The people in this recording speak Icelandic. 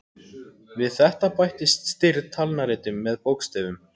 Við þetta bættist stirð talnaritun með bókstöfum.